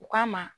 U k'a ma